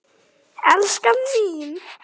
Elskan mín!